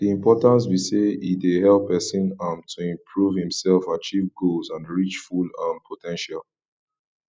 di importance be say e dey help pesin um to improve imself achieve goals and reach full um po ten tial